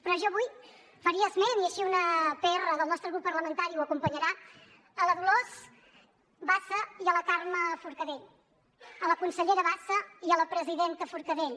però jo avui faria esment i així una pr del nostre grup parlamentari ho acompanyarà de la dolors bassa i de la carme forcadell de la consellera bassa i de la presidenta forcadell